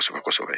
Kosɛbɛ kosɛbɛ